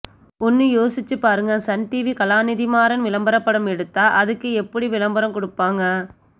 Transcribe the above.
ஒன்னு யோசிச்சு பாருங்க சன் டிவி கலாநிதிமாறன் விளம்பரப்படம் எடுத்தா அதுக்கு எப்புடி விளம்பரம் குடுப்பாங்க